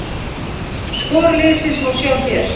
Skor liðsins má sjá hér